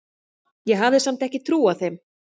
Ég hafði samt ekki trúað þeim.